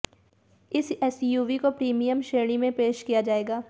इस एसयूवी को प्रीमियम श्रेणी में पेश किया जाएगा